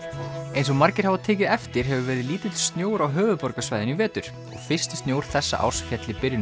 eins og margir hafa tekið eftir hefur verið lítill snjór á höfuðborgarsvæðinu í vetur og fyrsti snjór þessa árs féll í byrjun